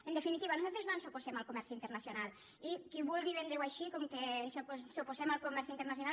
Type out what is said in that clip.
en definitiva nosaltres no ens oposem al comerç internacional i qui vulgui vendre ho així com que ens oposem al comerç internacional